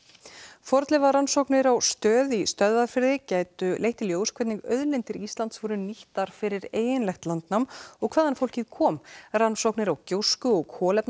fornleifarannsóknir á Stöð í Stöðvarfirði gætu leitt í ljós hvernig auðlindir Íslands voru nýttar fyrir eiginlegt landnám og hvaðan fólkið kom rannsóknir á gjósku og